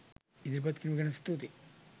ඉදිරිපත් කීරීම ගැන ස්තුති.